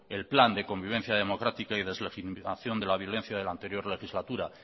el plan de convivencia democrática y deslegitimación de la violencia de la anterior legislatura